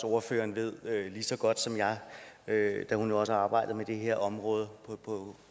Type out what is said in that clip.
ordføreren ved lige så godt som jeg da hun også har arbejdet med det her område